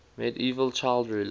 medieval child rulers